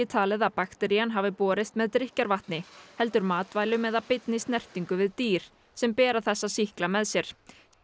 talið að bakterían hafi borist með drykkjarvatni heldur matvælum eða beinni snertingu við dýr sem bera þessa sýkla með sér